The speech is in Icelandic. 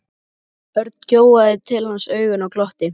Örn gjóaði til hans augunum og glotti.